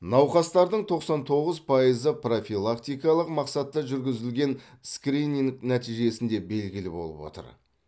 науқастардың тоқсан тоғыз пайызы профилактикалық мақсатта жүргізілген скрининг нәтижесінде белгілі болып отыр